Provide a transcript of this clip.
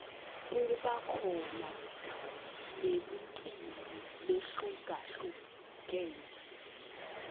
kuba khona nemicimbi lehlukalhlukene